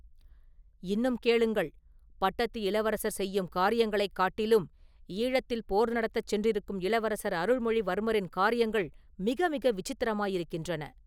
“இன்னும் கேளுங்கள், பட்டத்து இளவரசர் செய்யும் காரியங்களைக் காட்டிலும் ஈழத்தில் போர் நடத்தச் சென்றிருக்கும் இளவரசர் அருள்மொழிவர்மரின் காரியங்கள் மிக மிக விசித்திரமாயிருக்கின்றன.